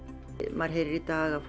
maður heyrir í dag að